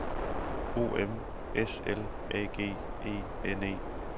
O M S L A G E N E